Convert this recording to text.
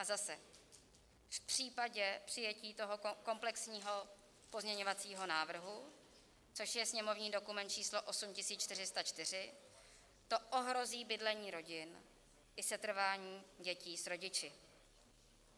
A zase - v případě přijetí toho komplexního pozměňovacího návrhu, což je sněmovní dokument číslo 8404 - to ohrozí bydlení rodin i setrvání dětí s rodiči.